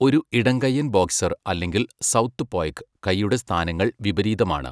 ഒരു ഇടംകൈയ്യൻ ബോക്സർ അല്ലെങ്കിൽ സൗത്ത്പോയ്ക്ക്, കൈയുടെ സ്ഥാനങ്ങൾ വിപരീതമാണ്.